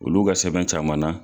Olu ka sɛbɛn caman na